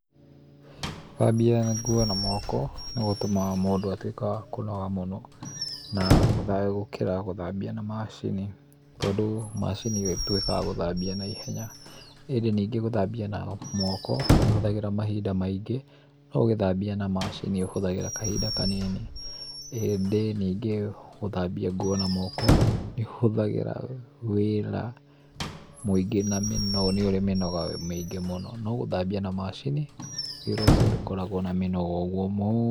gũthambia nguo na moko nĩgũtũmaga mũndũ atuĩke wa kũnoga mũno na gũkĩra gũthambia na macini tondũ macini nĩĩtuĩkaga ya gũthambia na ihenya. ĩndĩ nyingĩ gũthambia na moko nĩũhũthagĩra mahinda maingĩ no ũgĩthambia na macini ũhũthagĩra kahinda kanini ĩndĩ nyingĩ gũthambia na moko nĩũthagĩra wĩra mũingĩ na mĩnoga, nĩũrĩ mĩnoga mĩingĩ mũno, no gũthambia na macini, wĩra ũcio ndũkoragwo na mĩnoga mũno.